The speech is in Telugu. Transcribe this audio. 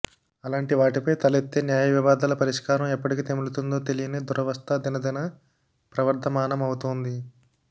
అలాంటివాటిపై తలెత్తే న్యాయ వివాదాల పరిష్కారం ఎప్పటికి తెములుతుందో తెలియని దురవస్థా దినదిన ప్రవర్ధమానమవుతోంది